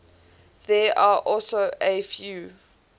there are also a few